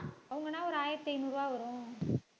அவங்கன்னா ஒரு ஆயிரத்தி ஐந்நூறு ரூபாய் வரும்